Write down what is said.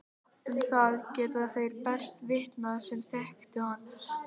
Um það geta þeir best vitnað sem þekktu hann.